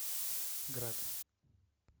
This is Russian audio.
град